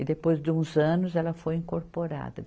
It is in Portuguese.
E depois de uns anos, ela foi incorporada.